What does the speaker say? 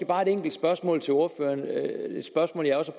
bare et enkelt spørgsmål til ordføreren det er et spørgsmål jeg også